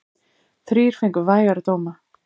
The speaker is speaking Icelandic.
Þrír fengu vægari dóma.